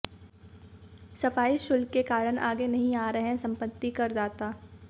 सफाई शुल्क के कारण आगे नहीं आ रहे सम्पत्तिकर दाता